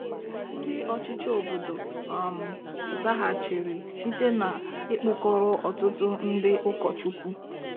Ndị ọchịchị obodo um zaghachiri site n'ịkpụkọrọ ọtụtụ ndị ụkọchukwu.